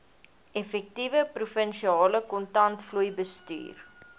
effektiewe provinsiale kontantvloeibestuur